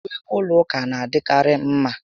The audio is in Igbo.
Uwe ụlọ ụka na adị karị mma